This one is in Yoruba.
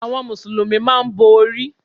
Àwọn mùsùlùmí máa n bo orí